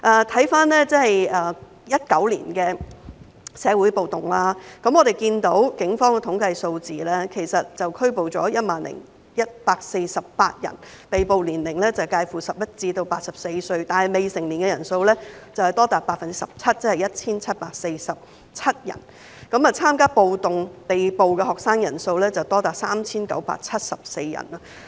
回看2019年的社會暴動，我們看到警方的統計數字，警方拘捕了 10,148 人，被捕者年齡介乎11至84歲，但未成年的人數多達 17%， 即是 1,747 人；參加暴動被捕學生的人數多達 3,974 人。